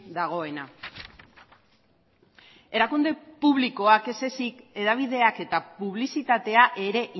dagoena erakunde publikoak ez ezik hedabideak eta publizitatea ere